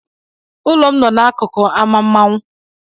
Ụlọ m no n'akụkụ ámá mmanwụ.